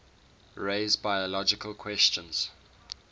raise biological questions